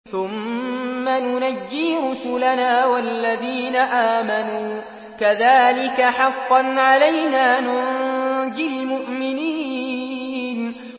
ثُمَّ نُنَجِّي رُسُلَنَا وَالَّذِينَ آمَنُوا ۚ كَذَٰلِكَ حَقًّا عَلَيْنَا نُنجِ الْمُؤْمِنِينَ